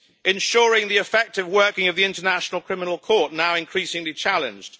ensuring the effective working of the International Criminal Court, now increasingly challenged